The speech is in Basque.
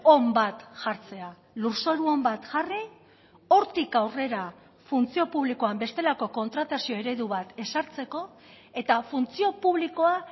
on bat jartzea lurzoru on bat jarri hortik aurrera funtzio publikoan bestelako kontratazio eredu bat ezartzeko eta funtzio publikoa